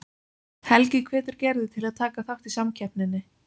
Helgi hvetur Gerði til að taka þátt í samkeppninni.